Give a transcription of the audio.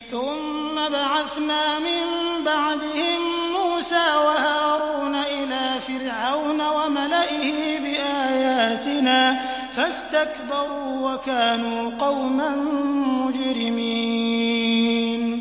ثُمَّ بَعَثْنَا مِن بَعْدِهِم مُّوسَىٰ وَهَارُونَ إِلَىٰ فِرْعَوْنَ وَمَلَئِهِ بِآيَاتِنَا فَاسْتَكْبَرُوا وَكَانُوا قَوْمًا مُّجْرِمِينَ